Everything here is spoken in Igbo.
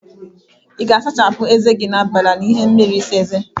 Ị ga-asachapụ eze gi n'abalị a n'ime ihe mmiri ịsa eze?